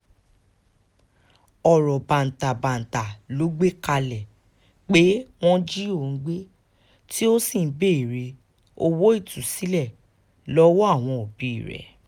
irọ́ bàǹtàbanta ló gbé kalẹ̀ pé wọ́n jí òun gbé tó sì ń béèrè owó ìtúsílẹ̀ lọ́wọ́ àwọnòbí rẹ̀